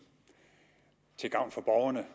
til gavn for borgerne